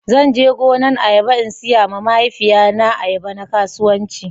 Zan je gonan ayaba in siya ma mahaifiya na ayaba na kasuwanci